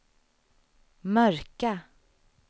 mörka